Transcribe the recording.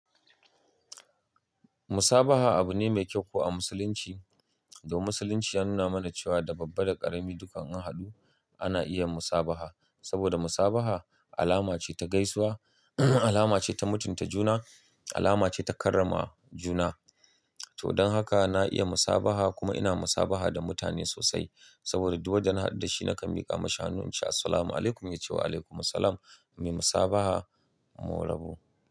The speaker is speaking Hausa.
Musabaha abu ne mai kyau ko a musulunci. Dan musulunci ya nuna mana cewa da babba da ƙarami dukkan an haɗu ana iya musabaha. Saboda musabaha alama ce ta gaisuwa, alama ce ta mutunta juna, alama ce ta karrama juna. To don haka na iya musabaha kuma ina musabaha da mutane sosai. Saboda duk wadda na haɗu da shi nakan miƙa mashi hannun ince, "Assalamu alaikum", ya ce wa "Alaikum salam", muna musabaha, mu rabu.